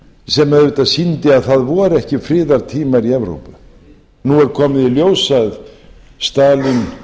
sem auðvitað sýndi að það voru ekki friðartímar í evrópu nú er komið í ljós að stalín